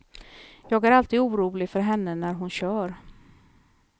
Jag är alltid orolig för henne när hon kör.